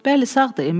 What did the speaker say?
Bəli, sağdır.